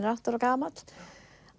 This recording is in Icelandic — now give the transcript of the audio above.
er átta ára gamall að